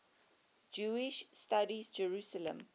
jewish studies jerusalem